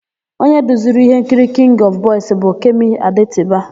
Onye duziri íhénkiri Kịngị ọfụ Bọis bụ Kemi Adetiba.